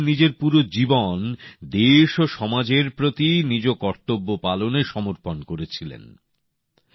বাবাসাহেব নিজের পুরো জীবন দেশ ও সমাজের প্রতি নিজ কর্তব্য পালনে সমর্পণ করেছিলেন